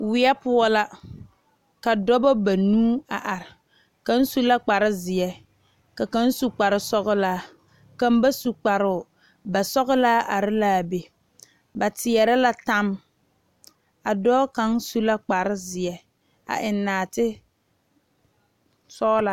Wiɛ poɔ la ka dɔɔba banuu a are kaŋ su la kpare ziɛ ka kaŋ su kpare sɔglaa kaŋ ba su kparo basɔglaa are la be ba teɛre la tammo a dɔɔ kaŋ su la kpare ziɛ a eŋ naate sɔglaa.